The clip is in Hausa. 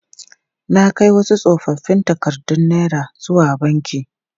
Na kai wasu tsofoffin takardun naira zuwa banki.